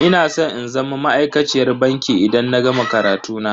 Ina san in zama ma'aikaciyar banki idan na gama karatu na.